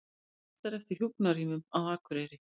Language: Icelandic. Biðlistar eftir hjúkrunarrýmum á Akureyri